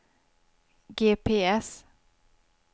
GPS